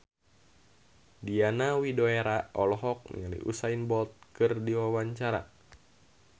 Diana Widoera olohok ningali Usain Bolt keur diwawancara